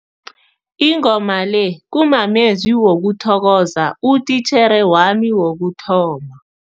Ingoma le kumamezwi wokuthokoza utitjhere wami wokuthoma.